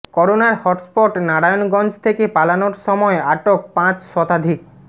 করোনার হটস্পট নারায়ণগঞ্জ থেকে পালানোর সময় আটক পাঁচ শতাধিক